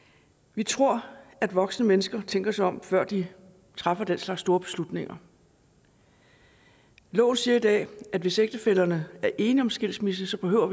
vi tror at voksne mennesker tænker sig om før de træffer den slags store beslutninger loven siger i dag at hvis ægtefællerne er enige om skilsmisse behøver